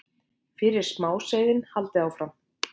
fyrir smáseiðin, haldið áfram.